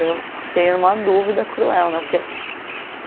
Daí eu fiquei em uma dúvida cruel, né? Porque